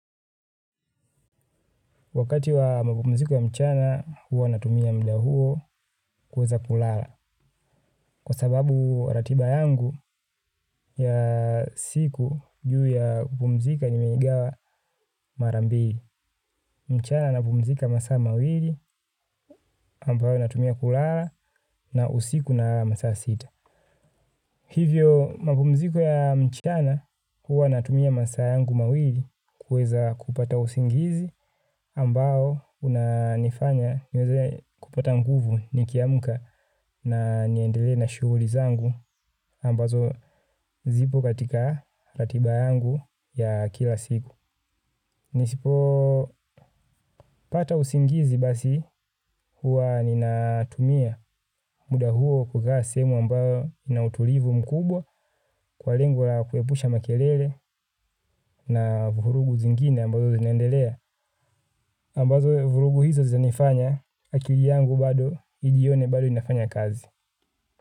Wakati wa mapumziko ya mchana huwa natumia muda huo kuweza kulala. Kwa sababu ratiba yangu ya siku juu ya kupumzika nimeigawa mara mbili. Mchana napumzika masaa mawili ambayo natumia kulala na usiku nalala masaa sita. Hivyo mapumziko ya mchana huwa natumia masaa yangu mawili kuweza kupata usingizi ambao unanifanya niweze kupata nguvu nikiamka. Na niendelee na shughuli zangu ambazo zipo katika ratiba yangu ya kila siku. Nisipopata usingizi basi huwa ninatumia muda huo kukaa sehemu ambayo ina utulivu mkubwa kwa lengo la kuepusha makelele na vurugu zingine ambazo zinaendelea. Ambazo vurugu hizo zinanifanya akili yangu bado ijione bado ninafanya kazi.